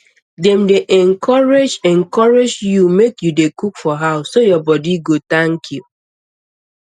dem dey encourage encourage you make you dey cook for house so your body go thank you